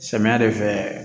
Samiya de fɛ